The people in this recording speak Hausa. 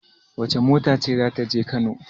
Wace mota ce za ta je Kano?